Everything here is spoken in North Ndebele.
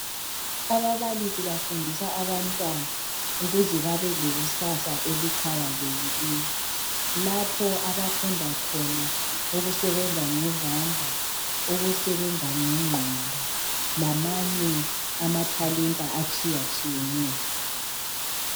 Ababalisi bafundisa abantwana ukuze babe lekusasa eliqhakazekileyo lapho abafunda khona ukusebenza ngezandla, ukusebenza ngengqondo lamanye amathalenda atshiyatshiyeneyo.